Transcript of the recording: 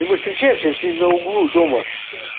и мы встречаемся в семь на углу дома в шесть